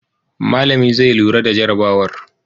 Malami zai lura da jarabawar.